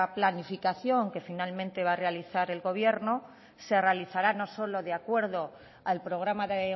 planificación que finalmente va a realizar el gobierno se realizará no solo de acuerdo al programa de